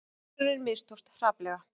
Tilraunin mistókst hrapalega